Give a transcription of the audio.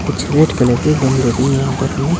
कुछ red colour के गमले भी है यहां पर हमें--